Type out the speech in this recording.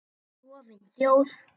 Klofin þjóð.